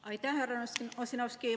Aitäh, härra Ossinovski!